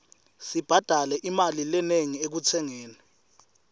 sibhadale imali lenengi ekutsengeni